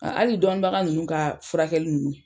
Hali dɔnni baga nunnu ka furakɛli nunnu